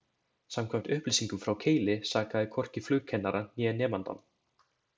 Samkvæmt upplýsingum frá Keili sakaði hvorki flugkennarann, né nemandann.